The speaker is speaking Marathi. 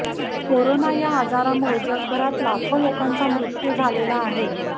कोरोना या आजारामुळे जगभरात लाखो लोकांचा मृत्यू झालेला आहे